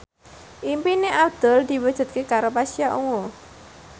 impine Abdul diwujudke karo Pasha Ungu